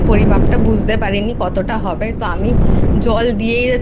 পরিমাপটা বুঝতে পারিনি কতটা হবে জল দিয়েই যাচ্ছি